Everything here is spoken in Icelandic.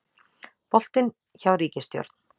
Boltinn hjá ríkisstjórn